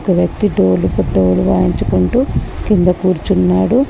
ఒక వ్యక్తి డోలుకు డోలు వాయించుకుంటూ కింద కూర్చున్నాడు.